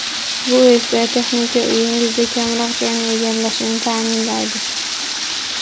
Bu esa, texnika uyingizda kamroq joyni egallashini ta’minlaydi.